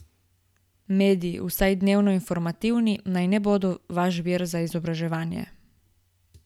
Mediji, vsaj dnevno informativni, naj ne bodo vaš vir za izobraževanje.